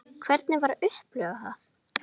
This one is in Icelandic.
Hvernig var að upplifa það?